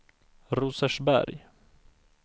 Rosersberg